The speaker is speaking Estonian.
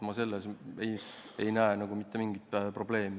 Ma ei näe selles mitte mingit probleemi.